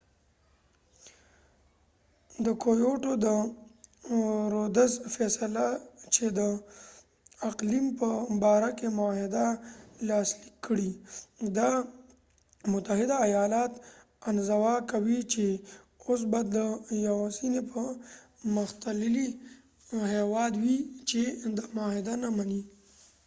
د رودز فیصله چې د کېوټو kyotoد اقلیم په باره کې معاهده لاسلیک کړي، دا متحده ایالات انزوا کوي چې او س به دا یواځنی پرمختللی هیواد وي چې دا معاهده نه منی